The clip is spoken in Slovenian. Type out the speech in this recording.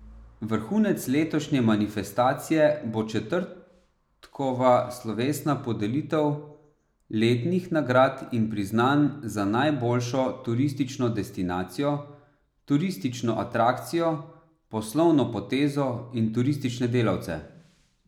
Vrhunec letošnje manifestacije bo četrtkova slovesna podelitev letnih nagrad in priznanj za najboljšo turistično destinacijo, turistično atrakcijo, poslovno potezo in turistične delavce.